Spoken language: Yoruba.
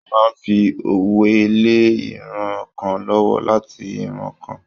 Wọ́n máa ń fi òwe lé ìran kan lọ́wọ́ láti ìran kan.